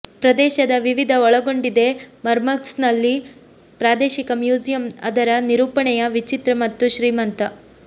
ಪ್ರದೇಶದ ವಿವಿಧ ಒಳಗೊಂಡಿದೆ ಮರ್ಮನ್ಸ್ಕ್ನಲ್ಲಿ ಪ್ರಾದೇಶಿಕ ಮ್ಯೂಸಿಯಂ ಅದರ ನಿರೂಪಣೆಯ ವಿಚಿತ್ರ ಮತ್ತು ಶ್ರೀಮಂತ